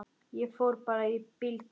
Ég fór bara í bíltúr.